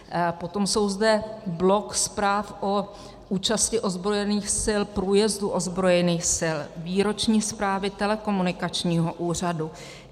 Potom je zde blok zpráv o účasti ozbrojených sil, průjezdu ozbrojených sil, výroční zprávy telekomunikačního úřadu.